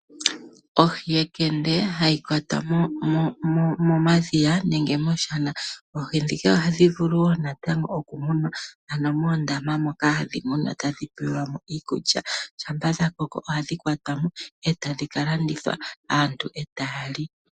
Ohi yekende hayi kwatwa momadhiya nenge mooshana oohi ndhika wo natango ohadhi vulu okumunwa etadhi pelwa mo iikulya . Ngele sha koko ohashi ka landithwa ,aantu etaya li